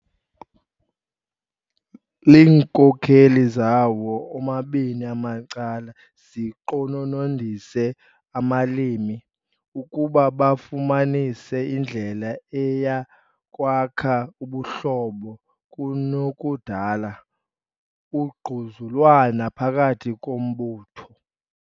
Iinkokeli zawo omabini amacala ziqononondise abalimi ukuba bafumanise indlela eya kwakha ubuhlobo kunokudala ugquzulwano phakathi kombutho.